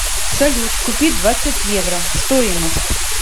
салют купить двадцать евро стоимость